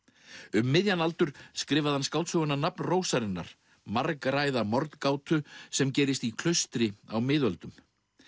um miðjan aldur skrifaði hann skáldsöguna nafn rósarinnar margræða sem gerist í klaustri á miðöldum